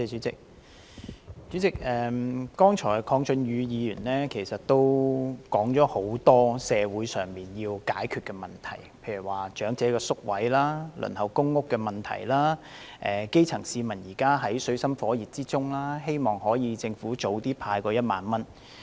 主席，剛才鄺俊宇議員說了很多社會上要解決的問題，例如長者院舍宿位和輪候公屋的問題，基層市民現正在水深火熱之中，希望政府早日派發1萬元。